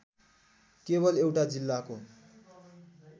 केवल एउटा जिल्लाको